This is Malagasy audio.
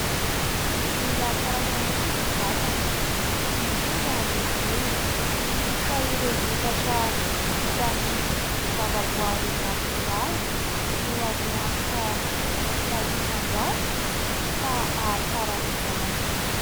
Mila karakaraina ny vatana, indrindra ny volo, ka ireo vokatra vita amin'ny zava-boaary natoraly no azo antoka zato isan-jato fa hahatsara izany.